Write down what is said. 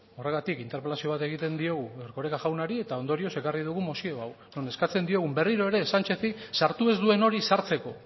horregatik interpelazio bat egiten diogu erkoreka jaunari eta ondorioz ekarri dugu mozio hau non eskatzen diogun berriro ere sanchezi sartu ez duen hori sartzeko